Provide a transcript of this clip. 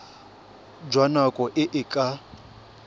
jwa nako e e ka